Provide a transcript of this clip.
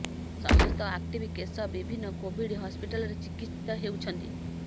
ସମସ୍ତ active case ବିଭିନ୍ନ Covid ହସ୍ପିଟାଲରେ ଚିକିତ୍ସିତ ହେଉଛନ୍ତି